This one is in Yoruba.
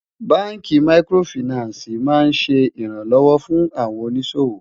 bánkì màkìrófinààsí má n ṣé ìran lówó fún òní ṣòwò